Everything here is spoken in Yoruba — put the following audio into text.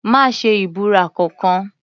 Má ṣe ìbúra kankan.